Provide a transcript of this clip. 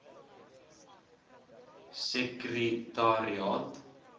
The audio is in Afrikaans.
sekretariaat